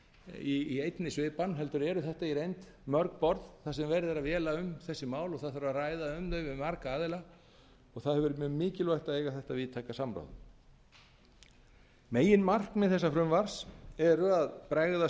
í einni svipan heldur eru þetta í reynd mörg borð þar sem verið er að véla um þessi mál og það þarf að ræða um þau við marga aðila og það hefur verið mjög mikilvægt að eiga þetta víðtæka samband meginmarkmið þessa frumvarps eru að bregðast við